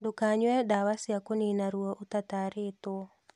Ndũkanyue dawa cia kũnina ruo ũtatarĩtũo